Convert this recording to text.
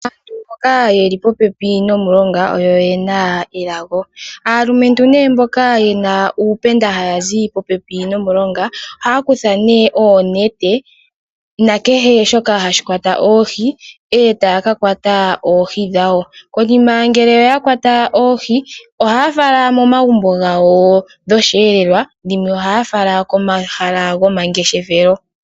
Aantu mboka ye li popepi nomulonga oyo ye na elago. Aalumentu mboka ye na uupenda haya zi popepi nomulonga ohaya kutha oonete nakehe shoka hashi kwata oohi e taya ka kwata oohi dhawo. Konima ngele oya kwata oohi ohaya fala momagumbo gawo dhosheelelwa dhimwe ohaya fala komahala gomangeshefelo.